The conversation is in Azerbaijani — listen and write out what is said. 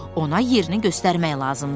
Ona yerini göstərmək lazımdır.